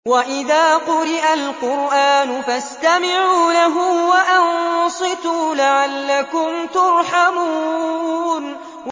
وَإِذَا قُرِئَ الْقُرْآنُ فَاسْتَمِعُوا لَهُ وَأَنصِتُوا لَعَلَّكُمْ تُرْحَمُونَ